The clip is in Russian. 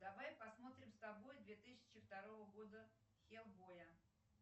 давай посмотрим с тобой две тысячи второго года хелбоя